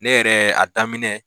Ne yɛrɛ a daminɛ.